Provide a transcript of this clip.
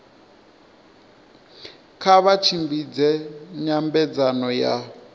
kha vha tshimbidze nyambedzano ya